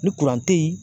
Ni kuran te ye